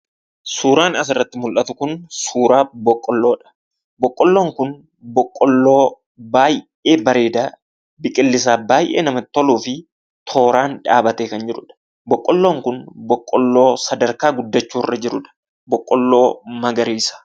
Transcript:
Suuraan asirratti mul'atu kunii suuraa boqqoolloodha. Boqqoolloon kun Boqqoolloo baayyee bareedaa, biqillisaa baayyee namatti toluufi tooraan dhaabbatee kan jirudha. Boqqoolloon kun Boqqoolloo sadarkaa guddachuurra jirudha. Boqqoolloo magariisa.